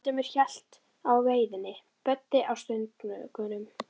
Valdimar hélt á veiðinni, Böddi á stöngunum.